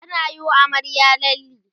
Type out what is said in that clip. anayi wa amaryar lalle